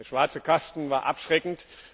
der schwarze Kasten war abschreckend.